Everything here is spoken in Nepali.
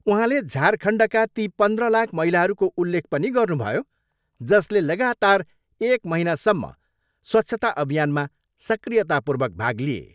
उहाँले झारखण्डका ती पन्द्र लाख महिलाहरूको उल्लेख पनि गर्नुभयो जसले लगातार एक महिनासम्म स्वच्छता अभियानमा सक्रियतापूर्वक भाग लिए।